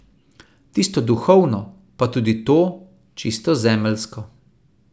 Tisto duhovno, pa tudi to, čisto zemeljsko.